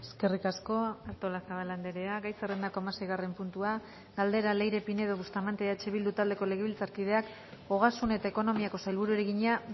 eskerrik asko artolazabal andrea gai zerrendako hamaseigarren puntua galdera leire pinedo bustamante eh bildu taldeko legebiltzarkideak ogasun eta ekonomiako sailburuari egina